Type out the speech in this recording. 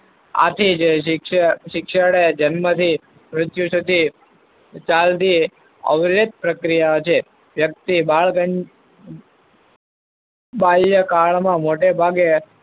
આથી જે શિ~શિક્ષણ એ જન્મથી મૃત્યુસુધી ચાલતી આવરીત પ્રક્રિયા છે. વ્યક્તિ બાળ બાલ્યાકાળમાં મોટેભાગે